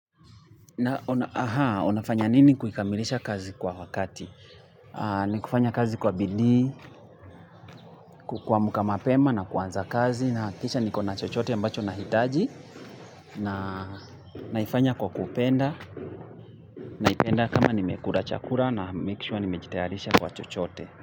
Na unafanya nini kukamilisha kazi kwa wakati? Ni kufanya kazi kwa bidii, kuamka mapema na kuanza kazi nahakikisha ni kona chochote ambacho na hitaji naifanya kwa kupenda, naipenda kama ni mekura chakura na make sure ni mejitayarisha kwa chochote.